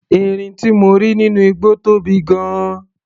Erin tí mo rí nínú igbó tóbi gan-an.